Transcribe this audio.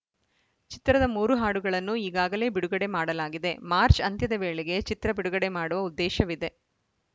ಚಿತ್ರದ ಮೂರು ಹಾಡುಗಳನ್ನು ಈಗಾಗಲೇ ಬಿಡುಗಡೆ ಮಾಡಲಾಗಿದೆ ಮಾರ್ಚ್ ಅಂತ್ಯದ ವೇಳೆಗೆ ಚಿತ್ರ ಬಿಡುಗಡೆ ಮಾಡುವ ಉದ್ದೇಶವಿದೆ